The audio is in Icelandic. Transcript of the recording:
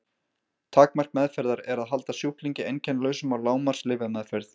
Takmark meðferðar er að halda sjúklingi einkennalausum á lágmarks lyfjameðferð.